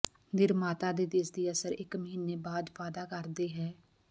ਨਿਰਮਾਤਾ ਦੇ ਦਿਸਦੀ ਅਸਰ ਇਕ ਮਹੀਨੇ ਬਾਅਦ ਵਾਅਦਾ ਕਰਦਾ ਹੈ